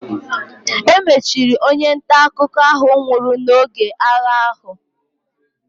E mechiri onye nta akụkọ ahụ nwụrụ n'oge agha ahụ.